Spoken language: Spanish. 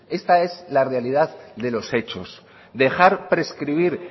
esta es la realidad de los hechos dejar prescribir